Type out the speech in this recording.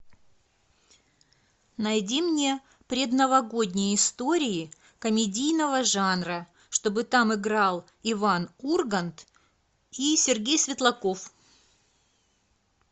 найди мне предновогодние истории комедийного жанра чтобы там играл иван ургант и сергей светлаков